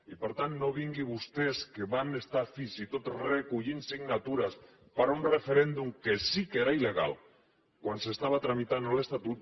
i per tant no vinguin vostès que van estar fins i tot recollint signatures per un referèndum que sí que era il·legal quan s’estava tramitant l’estatut